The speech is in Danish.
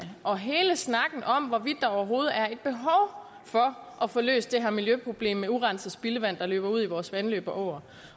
og hele snakken om hvorvidt der overhovedet er et behov for at få løst det her miljøproblem med urenset spildevand der løber ud i vores vandløb og åer